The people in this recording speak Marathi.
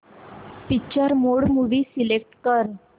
पिक्चर मोड मूवी सिलेक्ट कर